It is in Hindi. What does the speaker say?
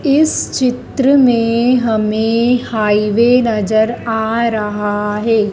इस चित्र में हमें हाईवे नजर आ रहा है।